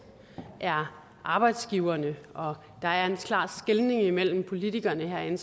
er arbejdsgiverne og der er en klar skelnen mellem politikerne herinde